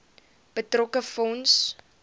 betrokke fonds